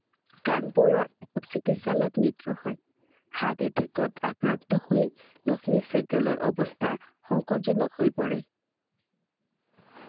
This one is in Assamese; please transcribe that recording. কানপুৰত চিকিৎসালয়ত মৃত্যু হয় heart attack ত আক্ৰান্ত হৈ লক্ষ্মী চেহ্গালৰ অৱস্থা সংকটজনক হৈ পৰে I